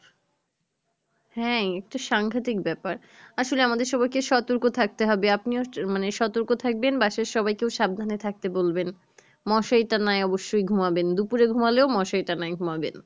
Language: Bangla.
হ্যাঁ এতো সাংঘাতিক ব্যাপার আসলে আমাদের সবাই কে সতর্ক থাকতে হবে আপনিও মানে সতর্ক থাকবেন বাসার সবাইকে সাবধানে থাকতে বলবেন মশারি টাঙ্গাই অবশই ঘুমাইবেন দুপুরে ঘুমালে ও মশারি টাঙ্গাই ঘুমাইবেন